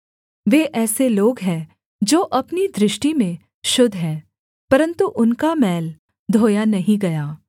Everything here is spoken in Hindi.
वे ऐसे लोग हैं जो अपनी दृष्टि में शुद्ध हैं परन्तु उनका मैल धोया नहीं गया